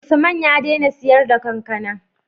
Usman ya dena siyar da kankAna